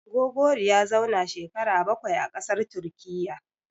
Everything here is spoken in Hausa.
Gogori ya zauna shekara bakwai a ƙasar Turkiyya.